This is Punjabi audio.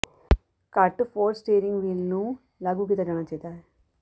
ਘੱਟ ਫੋਰਸ ਸਟੀਰਿੰਗ ਵੀਲ ਨੂੰ ਲਾਗੂ ਕੀਤਾ ਜਾਣਾ ਚਾਹੀਦਾ ਹੈ